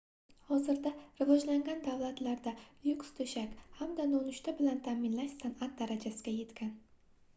hozirda rivojlangan davlatlarda lyuks toʻshak hamda nonushta bilan taʼminlash sanʼat darajasiga yetgan